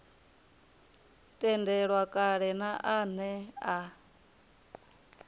tendelwa kale na ane a